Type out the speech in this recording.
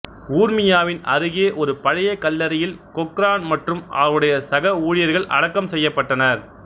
ஊர்மியாவின் அருகே ஒரு பழைய கல்லறையில் கொக்ரான் மற்றும் அவருடைய சக ஊழியர்கள் அடக்கம் செய்யப்பட்டனர்